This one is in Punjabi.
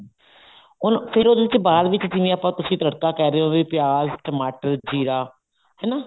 ਉਹਨੂੰ ਫ਼ੇਰ ਉਹਦੇ ਚ ਬਾਅਦ ਵਿੱਚ ਜਿਵੇਂ ਤੁਸੀਂ ਤੜਕਾ ਕਹਿ ਰਹੇ ਹੋ ਵੀ ਪਿਆਜ ਟਮਾਟਰ ਜ਼ੀਰਾ ਹਨਾ